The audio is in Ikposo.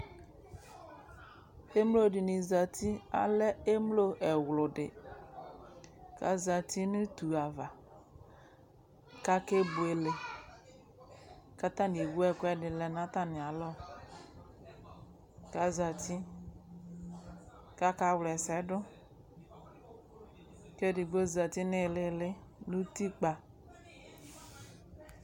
emlodini ƶati alɛ emlowʋ ɛɣlʋdi aƶatinʋ ʋtʋava kakebʋele kataniewʋ ɛkʋɛdini natamialɔ kaƶati kakawlɛsɛdʋ ɛdigbo ƶati niilili nʋti kpa